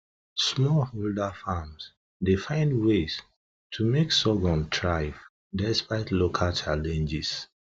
smallholder farms dey find ways to make sorghum thrive despite local challenges